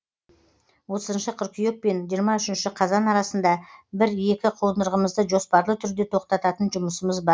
отызыншы қыркүйек пен жиырма үшінші қазан арасында бір екі қондырғымызды жоспарлы түрде тоқтататын жұмысымыз бар